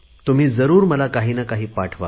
तुम्ही जरुर मला काहीनाकाही पाठवा